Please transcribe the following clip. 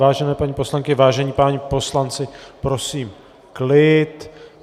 Vážené paní poslankyně, vážení páni poslanci, prosím klid.